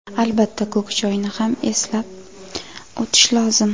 Albatta, ko‘k choyni ham eslab o‘tish lozim.